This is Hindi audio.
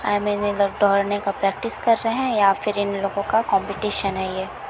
आई मीन ये लोग दौड़ने का प्रैक्टिस कर रहै है या फिर इन लोगों का कॉम्पिटेशन है यह --